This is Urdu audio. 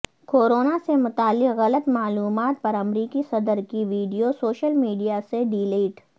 کورونا سے متعلق غلط معلومات پر امریکی صدر کی وڈیو سوشل میڈیا سے ڈیلیٹ